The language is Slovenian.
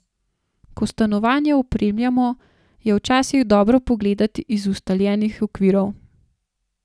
Ko stanovanje opremljamo, je včasih dobro pogledati iz ustaljenih okvirov.